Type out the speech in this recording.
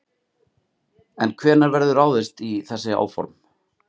En hvenær verður ráðist í þessi áform?